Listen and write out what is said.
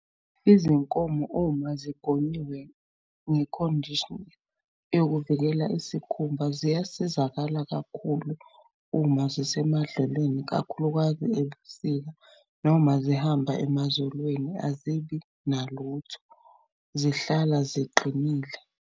Izinkomo uma zigonyiwe nge-conditioner yokuvikela isikhumba, ziyasizakala kakhulu uma zisemadlelweni kakhulukazi ebusika noma zihamba emazolweni azibi nalutho, zihlala ziqinile.